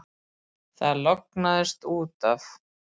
Það lognaðist út af.